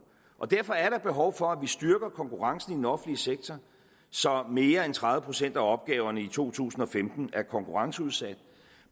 og derfor er der behov for at vi styrker konkurrencen i den offentlige sektor så mere end tredive procent af opgaverne i to tusind og femten er konkurrenceudsat